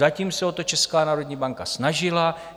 Zatím se o to Česká národní banka snažila.